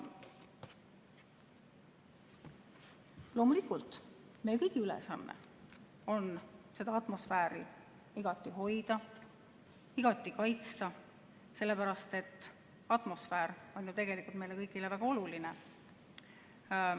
Loomulikult, meie kõigi ülesanne on seda atmosfääri igati hoida, igati kaitsta, sellepärast et atmosfäär on ju tegelikult meile kõigile väga oluline.